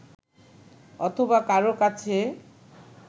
অথবা কারও কাছে